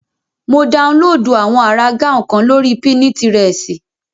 Mo daunlóòdù àwọn àrà gáùn kan lórí pínitirẹ̀sì